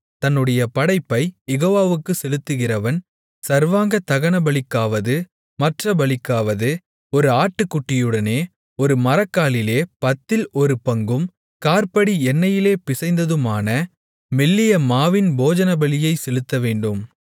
தன்னுடைய படைப்பைக் யெகோவாவுக்குச் செலுத்துகிறவன் சர்வாங்கதகனபலிக்காவது மற்றப் பலிக்காவது ஒரு ஆட்டுக்குட்டியுடனே ஒரு மரக்காலிலே பத்தில் ஒரு பங்கும் காற்படி எண்ணெயிலே பிசைந்ததுமான மெல்லிய மாவின் போஜனபலியைச் செலுத்தவேண்டும்